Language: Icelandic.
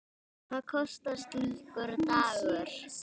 Hvað kostar slíkur dagur?